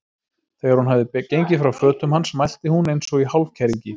Þegar hún hafði gengið frá fötum hans mælti hún eins og í hálfkæringi